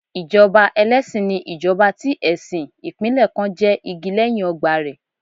Ìjọba ẹlẹ́sìn ni ìjọba tí ẹ̀sìn ìpínlẹ̀ kan jẹ́ igi lẹ́yìn ọgbà rẹ̀.